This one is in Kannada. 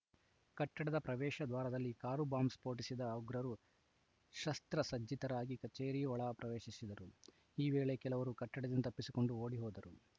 ಕಟ್ಟಡದ ಪ್ರವೇಶ ದ್ವಾರದಲ್ಲಿ ಕಾರು ಬಾಂಬ್‌ ಸ್ಫೋಟಿಸಿದ ಉಗ್ರರು ಶಸ್ತ್ರಸಜ್ಜಿತರಾಗಿ ಕಚೇರಿ ಒಳ ಪ್ರವೇಶಿಸಿದರು ಈ ವೇಳೆ ಕೆಲವರು ಕಟ್ಟಡದಿಂದ ತಪ್ಪಿಸಿಕೊಂಡು ಓಡಿ ಹೋದರು